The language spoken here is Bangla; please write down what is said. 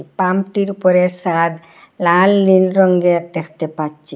পাম্পটির উপরে সাদ লাল নীল রঙ্গের দেখতে পাচ্চি।